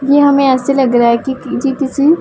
ये हमें ऐसे लग रहा है कि पीछे किसी--